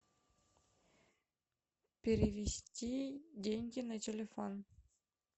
перевести деньги на телефон